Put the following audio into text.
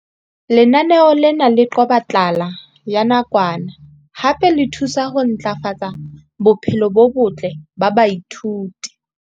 Lenaneo lena le qoba tlala ya nakwana hape le thusa ho ntlafatsa bophelo bo botle ba baithuti.